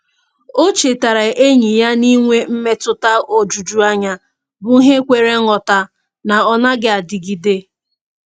O chetaara enyi ya na inwe mmetụta ojuju anya bụ ihe kwere nghọta na ọ naghị adịgide.